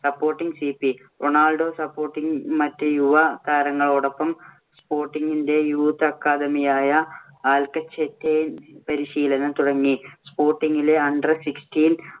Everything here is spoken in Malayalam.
SupportingCP റൊണാൾഡോ supporting ഇങ്ങിലെ മറ്റ് യുവ താരങ്ങളോടൊപ്പം sporting ഇന്‍റെ youth academy യായ ആൽകൊചെറ്റിൽ പരിശീലനം തുടങ്ങി. sporting ങ്ങിലെ under sixteen